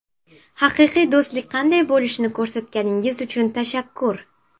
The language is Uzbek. Haqiqiy do‘stlik qanday bo‘lishini ko‘rsatganingiz uchun tashakkur”.